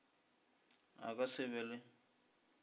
a ka se be le